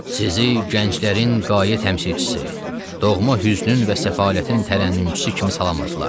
Sizi gənclərin qayə təmsilçisi, doğma hüznün və səfalətin tərənnümçüsü kimi salamladılar.